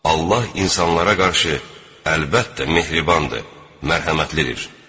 Allah insanlara qarşı əlbəttə mehribandır, mərhəmətlidir.